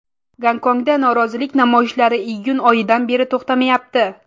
Gonkongda norozilik namoyishlari iyun oyidan beri to‘xtamayapti.